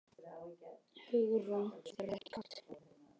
Hugrún: Svo þér er ekki kalt?